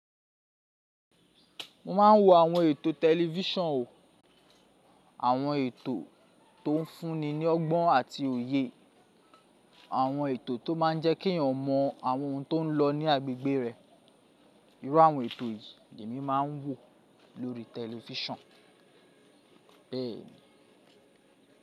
Mo máa ń wo àwọn ètò tẹlifísàn o. Àwọn ètò tó ń fúnni ni ọgbọ́n àti òye. Àwọn ètò tó máa ń jẹ́ kí èèyàn mọ àwọn ohun tó ń lọ ní agbègbè rẹ̀. Iru àwọn ètò yìí lè mi máa ń wo lórí tẹlifísàn.